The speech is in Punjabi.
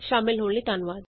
ਸ਼ਾਮਲ ਹੋਣ ਲਈ ਧੰਨਵਾਦ